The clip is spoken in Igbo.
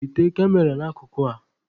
Wete Kamera n'akụkụ a!.